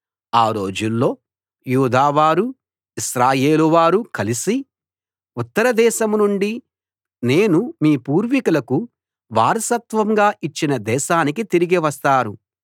ఆ రోజుల్లో యూదా వారూ ఇశ్రాయేలు వారూ కలిసి ఉత్తరదేశం నుండి నేను మీ పూర్వీకులకు వారసత్వంగా ఇచ్చిన దేశానికి తిరిగి వస్తారు